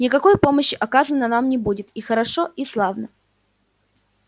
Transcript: никакой помощи оказано нам не будет и хорошо и славно